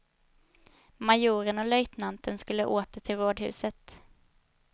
Majoren och löjtnanten skulle åter till rådhuset.